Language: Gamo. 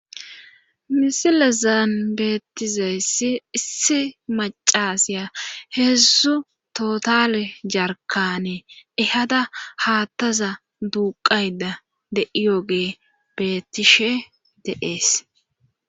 misilezaan beettizayssi issi macasya heedzdzu tootale jarkane ehada haattaza duuqayda de'iyoge bettishe de'ees